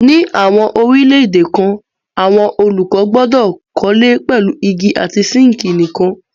Ní àwọn orílẹ̀-èdè kan àwọn olùkọ́ gbọdọ̀ kọ́lé pẹ̀lú igi àti síńkì nìkan.